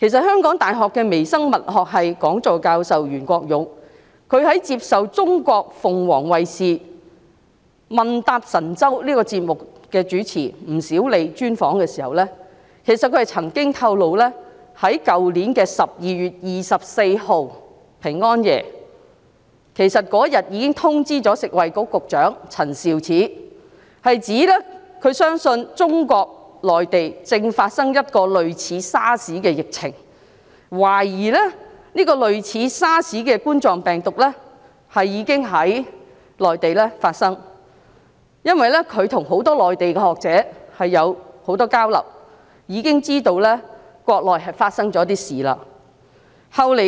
香港大學微生物學系講座教授袁國勇接受鳳凰衞視"問答神州"節目主持吳小莉專訪時曾經透露，他去年12月24日已經通知食物及衞生局局長陳肇始，他相信中國內地正發生一次類似 SARS 的疫情，懷疑這種類似 SARS 的冠狀病毒已經在內地發生，因為他和很多內地學者交流頻繁，知道國內正發生一些事情。